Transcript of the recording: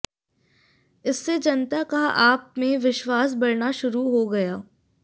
इससे जनता का आप में विश्वास बढ़ना शुरू हो गया